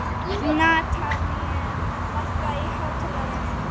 Natanael, lækkaðu í hátalaranum.